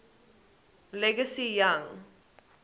league cy young